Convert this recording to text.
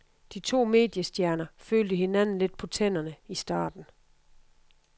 De to mediestjerner følte hinanden lidt på tænderne i starten.